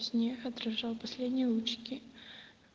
отражал последние лучики